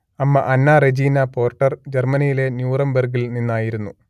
അമ്മ Anna Regina Porter ജർമ്മനിയിലെ ന്യൂറംബർഗ്ഗിൽ നിന്നായിരുന്നു